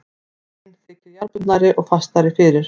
Rein þykir jarðbundnari og fastari fyrir.